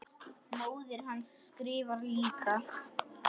Móðir hans skrifar líka.